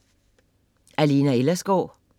Af Lena Ellersgaard